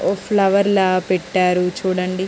Flower లా పెట్టారు చూడండి.